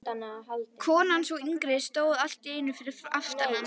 Konan, sú yngri, stóð allt í einu fyrir aftan hann.